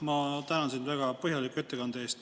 Ma tänan sind väga põhjaliku ettekande eest.